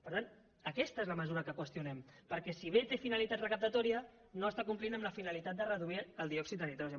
per tant aquesta és la mesura que qüestionem perquè si bé té finalitat recaptatòria no està complint amb la finalitat de reduir el diòxid de nitrogen